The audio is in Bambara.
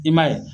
I m'a ye